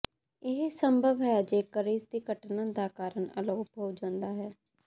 ਇਹ ਸੰਭਵ ਹੈ ਜੇਕਰ ਇਸਦੀ ਘਟਨਾ ਦਾ ਕਾਰਨ ਅਲੋਪ ਹੋ ਜਾਂਦਾ ਹੈ